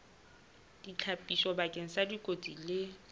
ditlhapiso bakeng sa dikotsi le